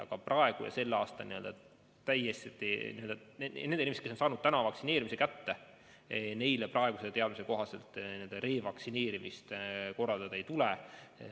Aga nendele inimestele, kes on tänavu saanud vaktsiini kätte, praeguse teadmise kohaselt revaktsineerimist korraldada ei tule.